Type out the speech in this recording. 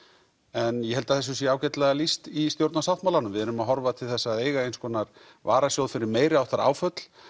en ég held þessu sé ágætlega lýst í stjórnarsáttmálanum við erum að horfa til þess að eiga eins konar varasjóð fyrir meiriháttar áföll